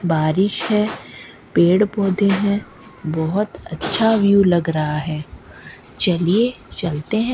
बारिश है पेड़ पौधे हैं बहुत अच्छा व्यू लग रहा है चलिए चलते हैं।